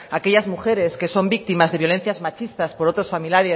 aquellas mujeres que son víctimas de violencias machistas por otros